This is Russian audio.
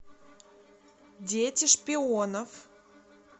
дети шпионов